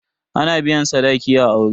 Ana biyan sadaki a aure.